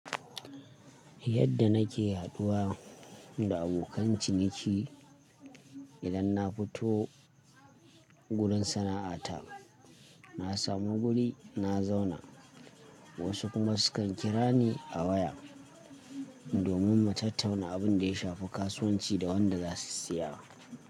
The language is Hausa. Yadda nake haduwa da abokan ciniki idan na fito wurin sana'ata, na samu guri na zauna, wasu kuma sukan kira ni a waya domin mu tattauna abin da ya shafi kasuwanci da wanda za su siya.